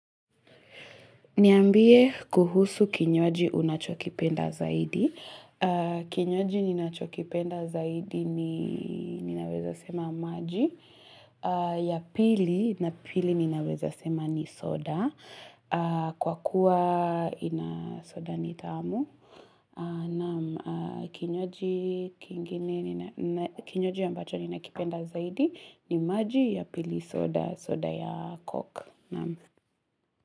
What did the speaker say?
Niambie kuhusu kinywaji unachokipenda zaidi. Kinywaji ninachokipenda zaidi ni ninaweza sema maji. Ya pili na pili ninaweza sema ni soda. Kwa kuwa ina soda ni tamu. Na kinywaji kingine kinywaji ambacho ninakipenda zaidi ni maji ya pili soda, soda ya coke.